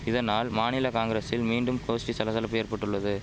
இதனால் மாநில காங்கிரசில் மீண்டும் கோஷ்டி சலசலப்பு ஏற்பட்டுள்ளது